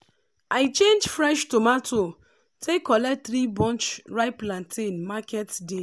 i change fresh tomato take collect three bunch ripe plantain market day